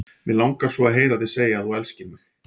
Mig langar svo að heyra þig segja að þú elskir mig!